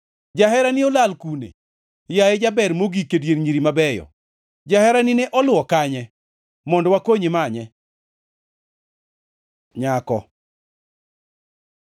Jaherani olal kune, yaye jaber mogik e dier nyiri mabeyo? Jaherani ne oluwo kanye, mondo wakonyi manye? Nyako